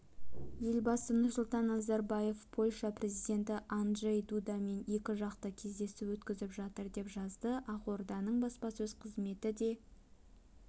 елбасы нұрсұлтан назарбаевпольша президенті анджей дудамен екіжақты кездесу өткізіп жатыр деп жазды ақорданың баспасөз қызметі де